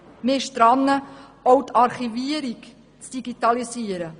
Man ist dabei, auch die Archivierung zu digitalisieren.